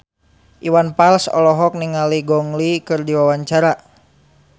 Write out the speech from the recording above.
Iwan Fals olohok ningali Gong Li keur diwawancara